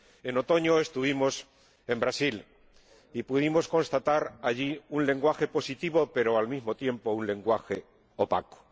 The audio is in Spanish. En otoño estuvimos en Brasil y pudimos constatar allí un lenguaje positivo, pero, al mismo tiempo, un lenguaje opaco.